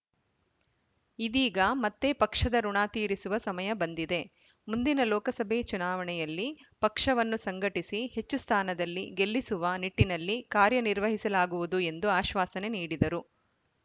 ಇದೀಗ ಮತ್ತೆ ಪಕ್ಷದ ಋುಣ ತೀರಿಸುವ ಸಮಯ ಬಂದಿದೆ ಮುಂದಿನ ಲೋಕಸಭೆ ಚುನಾವಣೆಯಲ್ಲಿ ಪಕ್ಷವನ್ನು ಸಂಘಟಿಸಿ ಹೆಚ್ಚು ಸ್ಥಾನದಲ್ಲಿ ಗೆಲ್ಲಿಸುವ ನಿಟ್ಟಿನಲ್ಲಿ ಕಾರ್ಯನಿರ್ವಹಿಸಲಾಗುವುದು ಎಂದು ಆಶ್ವಾಸನೆ ನೀಡಿದರು